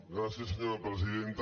gràcies senyora presidenta